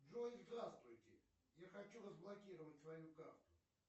джой здравствуйте я хочу разблокировать свою карту